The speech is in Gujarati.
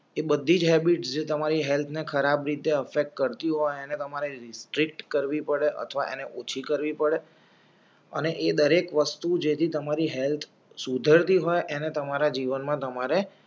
એ બધી જ હૅબિટ્સ જે તમારી હેલ્થને ખરાબ રીતે કરો અને તમારે રીસ્ટ્રીટ કરવી પળે અથવા અને ઓછી કરવી પડે અને એ દરેક વસ્તુ જેથી તમારી હેલ્થ સુધરતી અને તમારા જીવનમાં તમારે